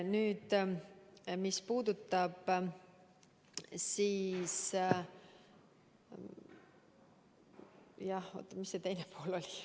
Nüüd, mis see küsimuse teine pool oli?